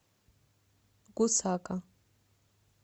гусака